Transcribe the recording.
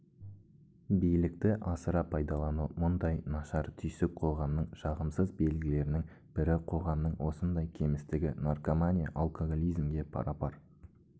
билікті асыра пайдалану мұндай нашар түйсік қоғамның жағымсыз белгілерінің бірі қоғамның осындай кемістігі наркомания алкоголизмге пара-пар